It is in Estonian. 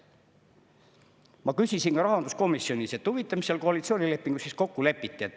Ma küsisin rahanduskomisjonis, et huvitav, mis seal koalitsioonilepingus siis kokku lepiti.